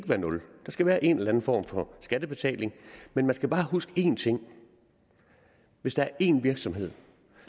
på nul der skal være en eller anden form for skattebetaling men man skal bare huske én ting hvis der er en virksomhed